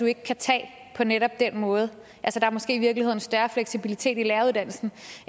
ikke kan tage på netop den måde der er måske i virkeligheden større fleksibilitet i læreruddannelsen